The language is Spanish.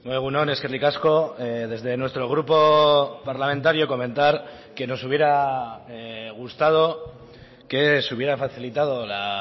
egun on eskerrik asko desde nuestro grupo parlamentario comentar que nos hubiera gustado que se hubiera facilitado la